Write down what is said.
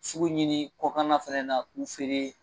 Sugu ɲini kɔkan na fana na k'u feere